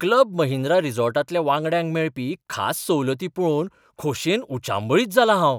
Club Mahindra रिसॉर्ट्सांतल्या वांगड्यांक मेळपी खास सवलती पळोवन खोशयेन उचांबळीत जालां हांव.